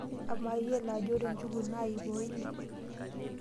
Amaa iyiolo ajo ore njugu naa iip o ile.